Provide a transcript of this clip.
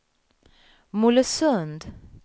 Mollösund